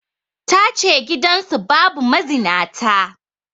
Ta ce gidansu babu mazinata